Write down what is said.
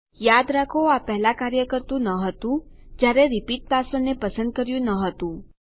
યાદ રાખો આ પહેલા કાર્ય કરતુ ન હતું જયારે રિપીટ પાસવર્ડ ને પસંદ કર્યું ન હતું